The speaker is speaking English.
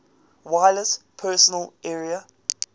wireless personal area